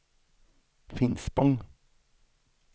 Finspång